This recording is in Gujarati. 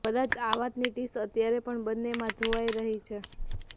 કદાચ આ વાતની ટીસ અત્યારે પણ બન્નેમાં જોવાઈ રહી છે